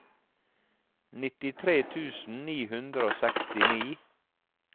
nittitre tusen ni hundre og sekstini